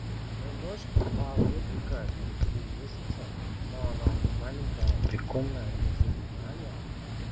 моей дочке на два годика три месяца но она мне маленькая прикольная зовут аня